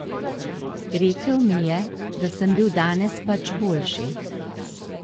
Rekel mi je, da sem bil danes pač boljši.